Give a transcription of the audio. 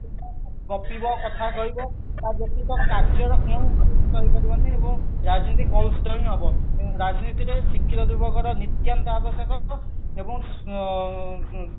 ବସିବ କଥା କହିବ ରାଜନୀତିକ କାର୍ଯ୍ୟର କୌଣସି ଜିନିଷ ହେଇପାରିବନି ଏବଂ ରାଜନୀତି କଳୁଷିତ ହିଁ ହବ ରାଜନୀତିରେ ଶିକ୍ଷିତ ଯୁବକଙ୍କର ନିତ୍ୟାନ୍ତ ଆବଶ୍ୟକ ହବ ଏବଂ ଆଁ